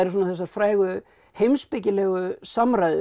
þessar frægu heimspekilegu samræður